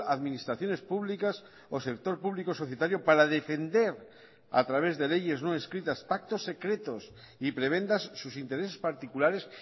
administraciones públicas o sector público societario para defender a través de leyes no escritas pactos secretos y prebendas sus intereses particulares